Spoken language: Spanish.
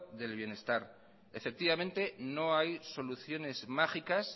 del bienestar no hay soluciones mágicas